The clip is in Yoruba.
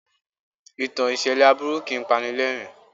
Ìtàn ìṣẹ̀lẹ̀ aburu kìí pani lẹ́rìn-ín.